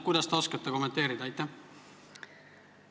Kuidas te seda kommenteerida oskate?